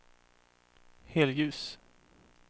helljus